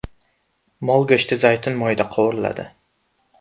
Mol go‘shti zaytun moyida qovuriladi.